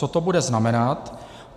Co to bude znamenat?